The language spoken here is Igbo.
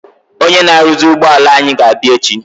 Ọnyé na aruzi ụgbọala anyị ga-abia echi.